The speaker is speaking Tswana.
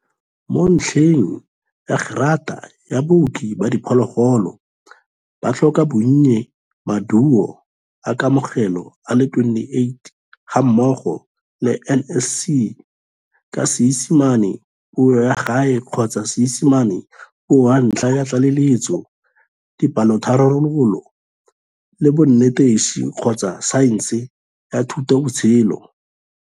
Mo ntlheng ya gerata ya Booki ba Diphologolo, ba tlhoka bonnye Maduo a Kamogelo a le 28 gammogo le NSC ka Seesimane Puo ya Gae kgotsa Seesimane Puo ya Ntlha ya Tlaleletso, dipalotharabololo, le bonetetshi kgotsa saense ya thutabotshelo.